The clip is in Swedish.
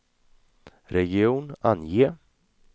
region, ange